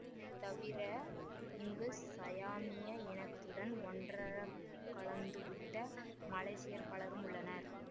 இதை தவிர இங்கு சயாமிய இனத்துடன் ஒன்றரக் கலந்துவிட்ட மலேசியர் பலரும் உள்ளனர்